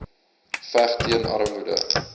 veg teen armoede